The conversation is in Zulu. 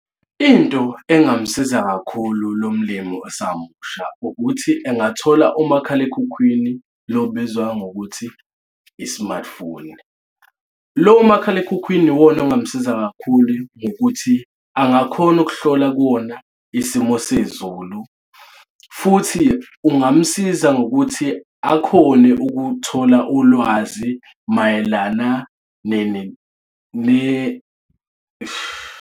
Into engamsiza kakhulu lo mlimo osasemusha ukuthi engathola umakhalekhukhwini lo obizwa ngokuthi i-smartphone. Lo makhalekhukhwini iwona ongamsiza kakhulu ngokuthi angakhona ukuhlola kuwona isimo sezulu futhi kungamsiza ngokuthi akhone ukuthola ulwazi mayelana eish.